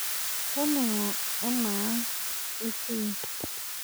Toning'o anaa ang' itii.